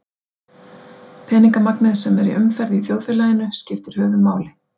Peningamagnið sem er í umferð í þjóðfélaginu skiptir höfuðmáli.